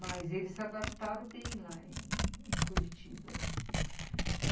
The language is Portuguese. Mas eles se adaptaram bem lá em Curitiba.